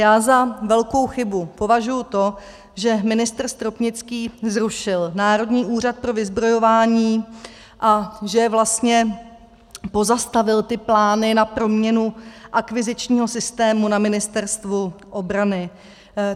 Já za velkou chybu považuji to, že ministr Stropnický zrušil Národní úřad pro vyzbrojování a že vlastně pozastavil ty plány na proměnu akvizičního systému na Ministerstvu obrany.